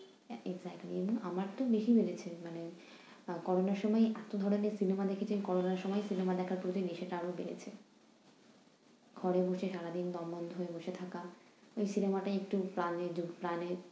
Exectly আমার তো বেশি বেড়েছে। মানে আহ করোনার সময়ই এতো ধরো যে cinema দেখেছি, করোনার সময়ই cinema দেখার প্রতি নেশাটা আরও বেড়েছে। ঘরে বসে সারাদিন দম বন্ধ হয়ে বসে থাকা, ওই cinema টা একটু প্রাণে ঢুক~ প্রাণে